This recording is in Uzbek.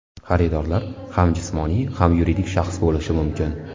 Xaridorlar ham jismoniy, ham yuridik shaxs bo‘lishi mumkin.